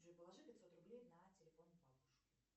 джой положи пятьсот рублей на телефон бабушке